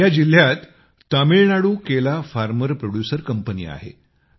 या जिल्ह्यात तामिळनाडू केला फार्मर प्रोड्यूसर कंपनी आहे